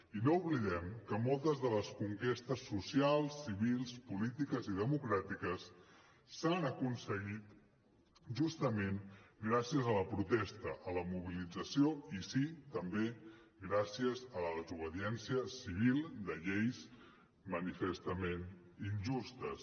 i no oblidem que moltes de les conquestes socials civils polítiques i democràtiques s’han aconseguit justament gràcies a la protesta a la mobilització i sí també gràcies a la desobediència civil de lleis manifestament injustes